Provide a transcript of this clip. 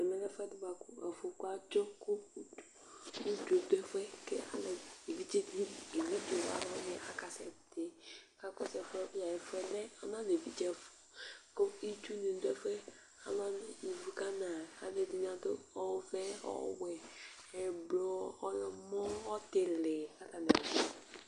ɛmɛ lɛ ɛfu ɛdi boa kò afɔku adzɔ kò udzo do ɛfuɛ k'evidze di ni evidze wani aka sɛ ti k'akɔsu ɛfuɛ bi ɛfu lɛ ɔna lɛ evidze ɛfu kò itsu ni do ɛfuɛ k'alo wani ivu ka na alo ɛdini ado ɔvɛ ɔwɛ ublɔ ɔwlɔmɔ ɔtili k'atani